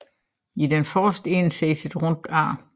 I den forreste ende ses et rundt ar